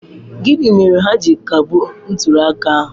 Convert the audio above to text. Gịnị mere ha ji kagbuo ntuli aka ahụ?